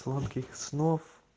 сладких снов